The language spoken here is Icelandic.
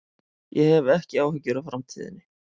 Ég hef ekki áhyggjur af framtíðinni.